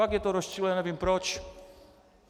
Fakt je to rozčiluje, nevím proč.